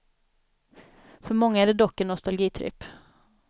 För många är det dock en nostalgitripp.